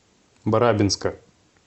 барабинска